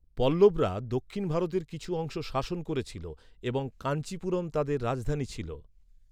পল্লবরা দক্ষিণ ভারতের কিছু অংশ শাসন করেছিল, এবং কাঞ্চিপুরম তাদের রাজধানী ছিল।